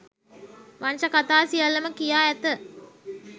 වංශ කථා සියල්ලම කියා ඇත